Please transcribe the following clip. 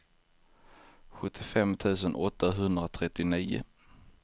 sjuttiofem tusen åttahundratrettionio